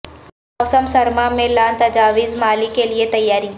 موسم سرما میں لان تجاویز مالی کے لئے تیاری